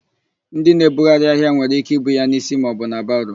Ndị na-ebugharị ahịa nwere íké ibu ya n'isi maọbụ na baro.